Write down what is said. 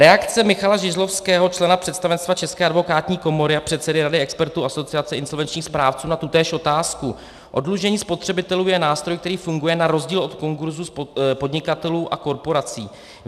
Reakce Michala Žižlavského, člena představenstva České advokátní komory a předsedy Rady expertů Asociace insolvenčních správců na tutéž otázku: Oddlužení spotřebitelů je nástroj, který funguje na rozdíl od konkurzu podnikatelů a korporací.